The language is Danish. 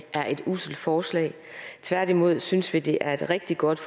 er et usselt forslag tværtimod synes vi at det er et rigtig godt